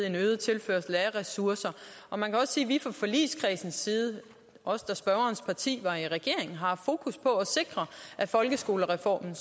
en øget tilførsel af ressourcer man kan sige at vi fra forligskredsens side også da spørgerens parti var i regering har haft fokus på at sikre at folkeskolereformen